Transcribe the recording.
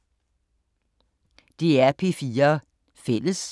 DR P4 Fælles